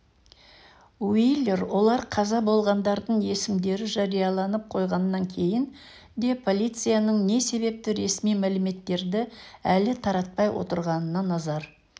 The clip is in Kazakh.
уилер олар қаза болғандардың есімдері жарияланып қойғаннан кейін де полицияның не себепті ресми мәліметтерді әлі таратпай отырғанына назар